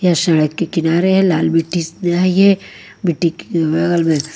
यह सड़क के किनारे लाल मिट्टी मिट्टी के बगल में--